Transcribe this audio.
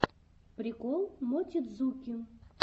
прикол мотидзуки